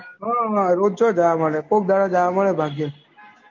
હા રોજ થોડી જવા મળે કોઈક દહાડા જવા મળે બાકી